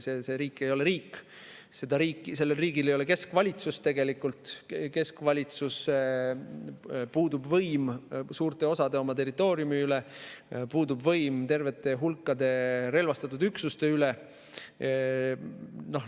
See riik ei ole riik, sellel riigil ei ole tegelikult keskvalitsust, puudub võim suurte osade oma territooriumi üle, puudub võim tervete hulkade relvastatud üksuste üle.